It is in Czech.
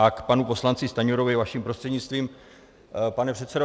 A k panu poslanci Stanjurovi vaším prostřednictvím, pane předsedo.